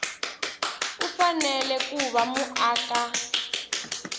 u fanele ku va muaka